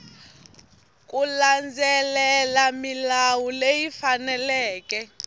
ku landzelela milawu leyi faneleke